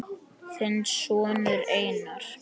Þinn sonur Einar.